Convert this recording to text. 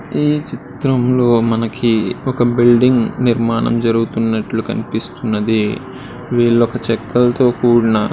ఈ చిత్రంలో మనకి ఒక బిల్డింగు నిర్మాణం జరుగుతున్నట్లు కనిపిస్తుంది. వీళ్లు చెక్కలతో కూడిన --